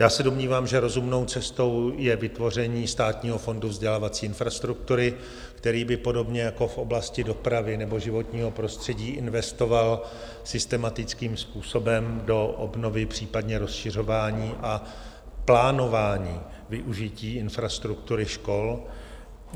Já se domnívám, že rozumnou cestou je vytvoření Státního fondu vzdělávací infrastruktury, který by podobně jako v oblasti dopravy nebo životního prostředí investoval systematickým způsobem do obnovy, případně rozšiřování a plánování využití infrastruktury škol.